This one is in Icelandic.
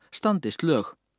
standist lög